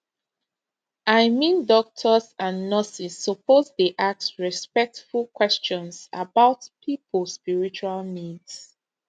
i mean doctors and nurses suppose dey ask respectful questions about people spiritual needs